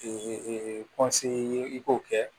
ye i k'o kɛ